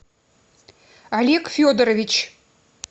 олег федорович